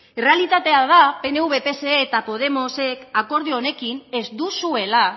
errealitatea da pnv pse eta podemosek akordio honekin ez duzuela